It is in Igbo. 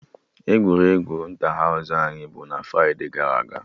Egwuregwu Ịntahaụsụ anyị bụ na fride gara aga